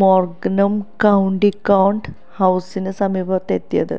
മോര്ഗനും county court ഹൌസിന് സമീപമെത്തിയത്